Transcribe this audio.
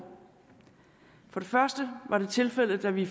for det første var det tilfældet da vi